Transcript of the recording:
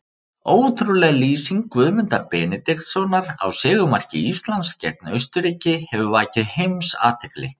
Ótrúleg lýsing Guðmundar Benediktssonar á sigurmarki Íslands gegn Austurríki hefur vakið heimsathygli.